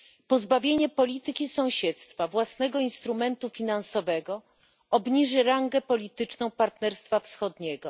Pozbawienie polityki sąsiedztwa własnego instrumentu finansowego obniży rangę polityczną Partnerstwa Wschodniego.